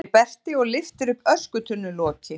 segir Berti og lyftir upp öskutunnuloki.